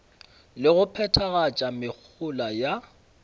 le go phethagatša mehola ya